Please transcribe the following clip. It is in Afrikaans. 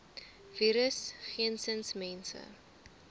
virus geensins mense